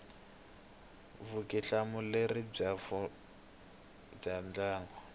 vutihlamuleri bya vurhangeri bya ndhavuko